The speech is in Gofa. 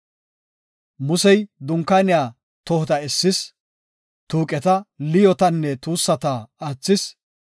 Musey, Dunkaaniya tohota essis, tuuqeta, liyootanne tuussata aathis.